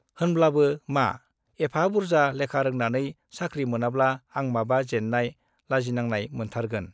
होनब्लाबो मा, एफा बुर्जा लेखा रोंनानै साख्रि मोनाब्ला आं माबा जेन्नाय, लाजिनांनाय मोनथारगोन।